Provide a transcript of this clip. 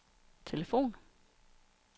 telefon